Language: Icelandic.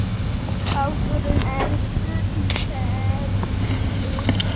Báturinn er fullfermdur.